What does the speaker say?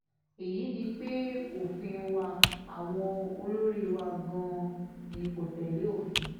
èyí ni pé òfin wa àwọn olórí wa gan-an ni kò tẹ̀lé òfin